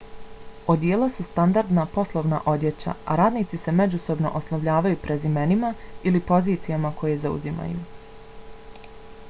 odijela su standardna poslovna odjeća a radnici se međusobno oslovljavaju prezimenima ili pozicijama koje zauzimaju